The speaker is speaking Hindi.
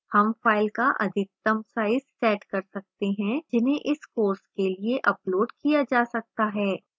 हम files का अधिकतम size set कर सकते हैं जिन्हें इस course के लिए uploaded किया जा सकता है